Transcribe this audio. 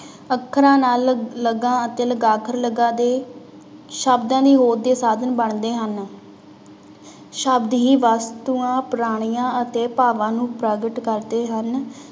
ਅੱਖਰਾਂ ਨਾਲ ਲ ਲਗਾਂ ਅਤੇ ਲਗਾਖਰ ਲਗਾ ਦੇ ਸ਼ਬਦ ਦੇ ਸਾਧਨ ਬਣਦੇ ਹਨ ਸ਼ਬਦ ਹੀ ਵਸਤੂਆਂ ਪਰਾਣੀਆਂ ਅਤੇ ਭਾਵਾਂ ਨੂੰ ਪ੍ਰਗਟ ਕਰਦੇ ਹਨ।